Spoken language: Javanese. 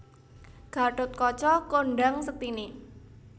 Gathotkaca kondhang sektiné